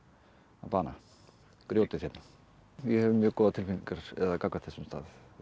bana grjótið hérna ég hef mjög góðar tilfinningar gagnvart þessum stað